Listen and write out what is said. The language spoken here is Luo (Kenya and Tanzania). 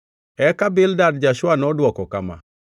Eka Bildad ja-Shua nodwoko kama: